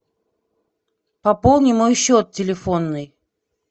пополни мой счет телефонный